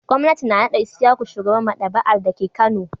Gwamnati na naɗa Isyaku shugaban maɗaba'ar dake Kano.